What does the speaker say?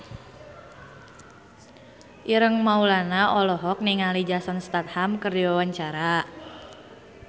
Ireng Maulana olohok ningali Jason Statham keur diwawancara